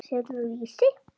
Selurðu Vísi?